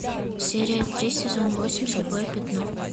серия три сезон восемь слепое пятно